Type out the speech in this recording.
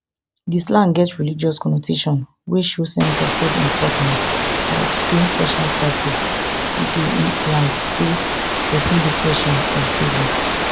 di slang get religious connotation wey show sense of selfimportance or to claim special status e dey imply say pesin dey special or favoured